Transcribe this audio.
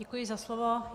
Děkuji za slovo.